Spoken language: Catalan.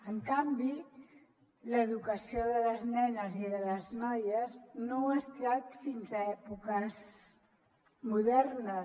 en canvi l’educació de les nenes i de les noies no ho ha estat fins a èpoques modernes